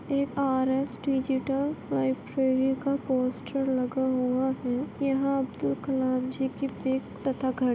एक digital library का poster लगा हुआ है यहाँ अब्दुल कलाम जी की पिक तथा----